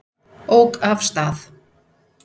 Ók af stað